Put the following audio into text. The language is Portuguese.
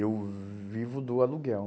Eu vivo do aluguel.